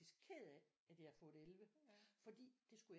Ked af at jeg havde fået 11 fordi det skulle jeg